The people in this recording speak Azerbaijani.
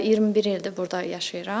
21 ildir burda yaşayıram.